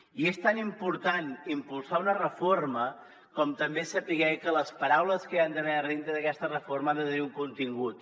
i és tan important impulsar una reforma com també saber que les paraules que hi han d’haver dintre d’aquesta reforma ha de tenir un contingut